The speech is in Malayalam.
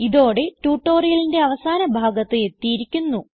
ഇതോടെ ട്യൂട്ടോറിയലിന്റെ അവസാന ഭാഗത്ത് എത്തിയിരിക്കുന്നു